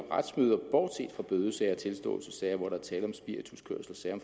retsmøder bortset fra bødesager tilståelsessager hvor der er tale om spirituskørsel og sager